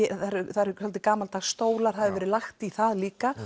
það eru gamaldags stólar það hefur verið lagt í það líka